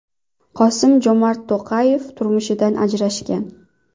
Qosim-Jomart To‘qayev turmushidan ajrashgan.